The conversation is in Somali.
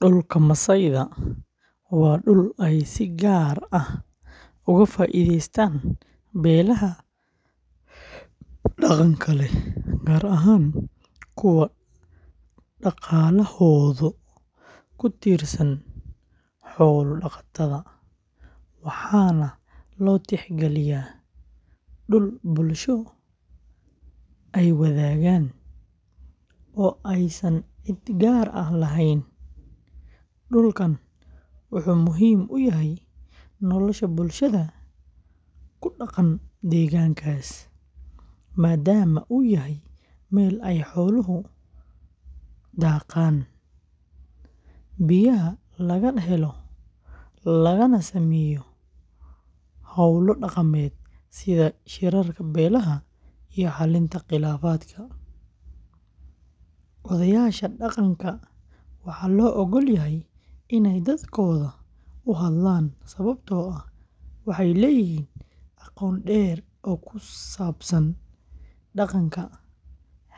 Dhulka masaayda waa dhul ay si gaar ah uga faa'iideystaan beelaha dhaqanka leh, gaar ahaan kuwa dhaqaalahooda ku tiirsan xoolo-dhaqatada, waxaana loo tixgeliyaa dhul bulsho ay wadaagaan oo aysan cid gaar ah lahayn. Dhulkan wuxuu muhiim u yahay nolosha bulshada ku dhaqan deegaankaas, maadaama uu u yahay meel ay xooluhu daaqaan, biyaha laga helo, lagana sameeyo hawlo dhaqameed sida shirarka beelaha iyo xallinta khilaafaadka. Odayaasha dhaqanka waxaa loo oggol yahay inay dadkooda u hadlaan sababtoo ah waxay leeyihiin aqoon dheer oo ku saabsan dhaqanka,